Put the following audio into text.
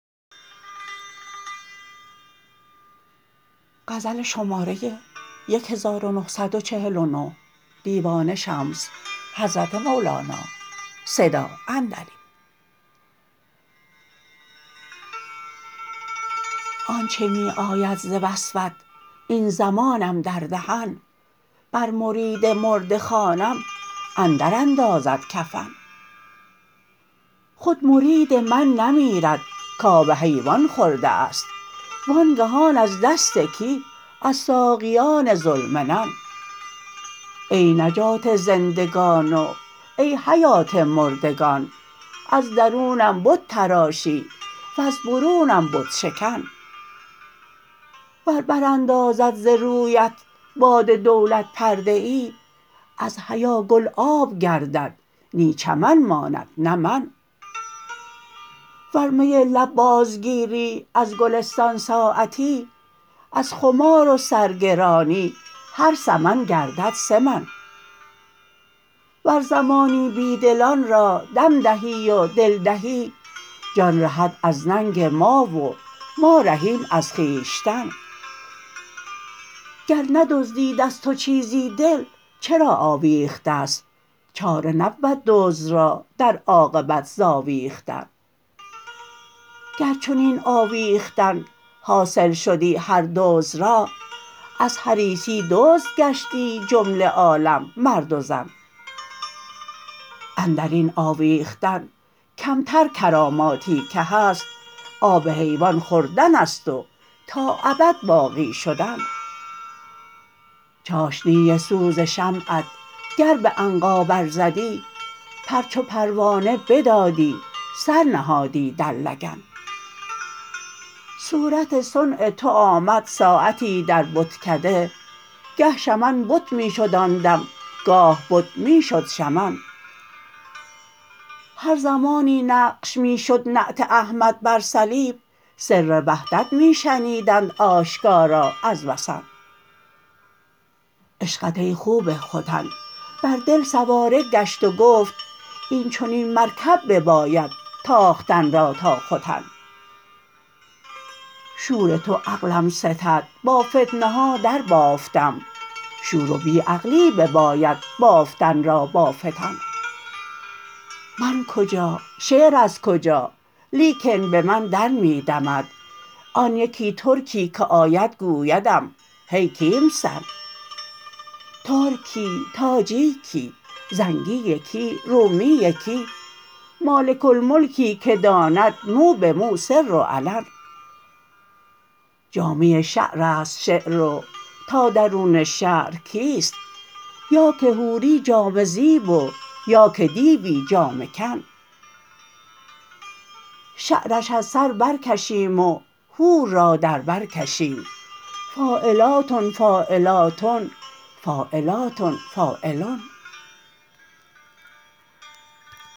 آنچ می آید ز وصفت این زمانم در دهن بر مرید مرده خوانم اندراندازد کفن خود مرید من نمیرد کآب حیوان خورده است وانگهان از دست کی از ساقیان ذوالمنن ای نجات زندگان و ای حیات مردگان از درونم بت تراشی وز برونم بت شکن ور براندازد ز رویت باد دولت پرده ای از حیا گل آب گردد نی چمن ماند نه من ور می لب بازگیری از گلستان ساعتی از خمار و سرگرانی هر سمن گردد سه من ور زمانی بی دلان را دم دهی و دل دهی جان رهد از ننگ ما و ما رهیم از خویشتن گر ندزدید از تو چیزی دل چرا آویخته ست چاره نبود دزد را در عاقبت ز آویختن گر چنین آویختن حاصل شدی هر دزد را از حریصی دزد گشتی جمله عالم مرد و زن اندر این آویختن کمتر کراماتی که هست آب حیوان خوردن است و تا ابد باقی شدن چاشنی سوز شمعت گر به عنقا برزدی پر چو پروانه بدادی سر نهادی در لگن صورت صنع تو آمد ساعتی در بتکده گه شمن بت می شد آن دم گاه بت می شد شمن هر زمانی نقش می شد نعت احمد بر صلیب سر وحدت می شنیدند آشکارا از وثن عشقت ای خوب ختن بر دل سواره گشت گفت این چنین مرکب بباید تاختن را تا ختن شور تو عقلم ستد با فتنه ها دربافتم شور و بی عقلی بباید بافتن را با فتن من کجا شعر از کجا لیکن به من در می دمد آن یکی ترکی که آید گویدم هی کیمسن ترک کی تاجیک کی زنگی کی رومی کی مالک الملکی که داند مو به مو سر و علن جامه شعر است شعر و تا درون شعر کیست یا که حوری جامه زیب و یا که دیوی جامه کن شعرش از سر برکشیم و حور را در بر کشیم فاعلاتن فاعلاتن فاعلاتن فاعلن